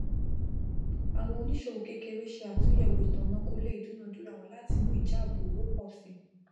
àwọn oníṣòwò kékeré ṣe àtúnyẹwò itanakọọlẹ ìdúnàdúrà wọn láti mú ìjàbọ owó pọ sí